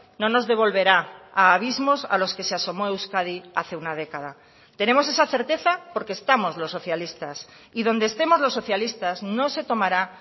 no nos devolverá a abismos a los que se asomó euskadi hace una década tenemos esa certeza porque estamos los socialistas y donde estemos los socialistas no se tomará